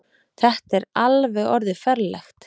Þetta er alveg orðið ferlegt.